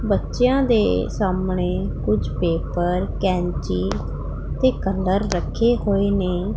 ਬੱਚਿਆਂ ਦੇ ਸਾਹਮਣੇ ਕੁਛ ਪੇਪਰ ਕੈਂਚੀ ਤੇ ਕਲਰ ਰੱਖੇ ਹੋਏ ਨੇ।